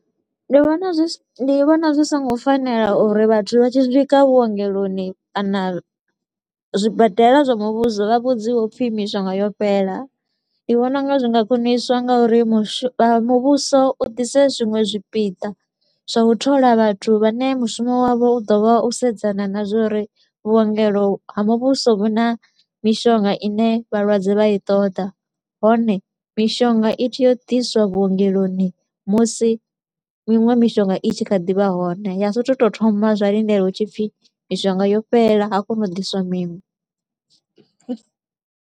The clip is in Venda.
Ndi vhona zwi si ndi vhona zwi so ngo fanela uri vhathu vha tshi swika vhuongeloni kana zwibadela zwa muvhuso vha vhudziwe upfi mishonga yo fhela. Ndi vhona u nga zwi nga khwiniswa nga uri mushu muvhuso u ḓise zwiṅwe zwipiḓa zwa u thola vhathu vhane mushumo wavho u ḓo vha u sedzana na zwa uri vhuongelo ha muvhuso vhu na mishonga i ne vhalwadze vha i ṱoḓa. Hone mishonga i tshi yo diswa vhuongeloni musi miṅwe mishonga i tshi kha ḓivha hone, ya sa tou thoma zwa lindela hu tshi pfi mishonga yo fhela ha koṅwa u diswa miṅwe.